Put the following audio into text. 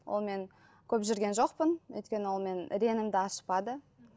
онымен көп жүрген жоқпын өйткені ол менің реңімді ашпады